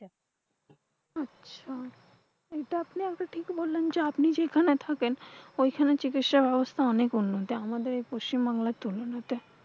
আচ্ছা। এটা আপনি ঠিকই বললেন যে, আপনি যেইখানে থাকেন ঐখানে চিকিৎসাব্যবস্থা অনেক উন্নতি আমাদের এই পশ্চিমবাংলায় তুলনায়।